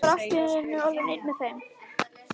Ég var allt í einu orðinn einn með þeim.